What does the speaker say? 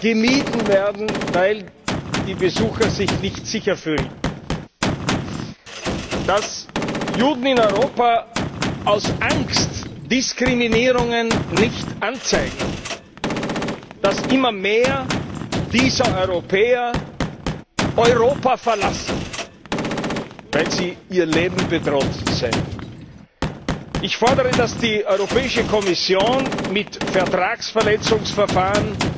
gemieden werden, weil die Besucher sich nicht sicher fühlen, dass Juden in Europa aus Angst Diskriminierungen nicht anzeigen, dass immer mehr dieser Europäer Europa verlassen, weil sie ihr Leben bedroht sehen. Ich fordere, dass die Europäische Kommission mit Vertragsverletzungsverfahren